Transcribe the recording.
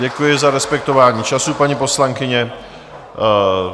Děkuji za respektování času, paní poslankyně.